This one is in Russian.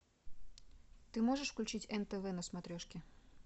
ты можешь включить нтв на смотрешке